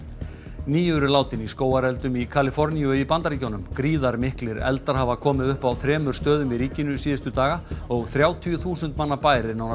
níu eru látin í skógareldum í Kaliforníu í Bandaríkjunum gríðarmiklir eldar hafa komið upp á þremur stöðum í ríkinu síðustu daga og þrjátíu þúsund manna bær er nánast